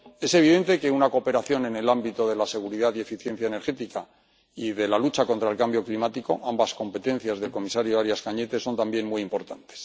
Es evidente que la cooperación en el ámbito de la seguridad y la eficiencia energética y de la lucha contra el cambio climático, ambas competencias del comisario Arias Cañete, son también muy importantes.